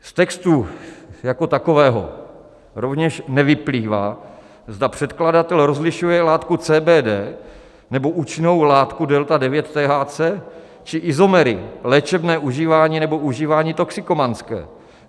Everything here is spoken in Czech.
Z textu jako takového rovněž nevyplývá, zda předkladatel rozlišuje látku CBD, nebo účinnou látku delta-9-THC, či izomery, léčebné užívání, nebo užívání toxikomanské.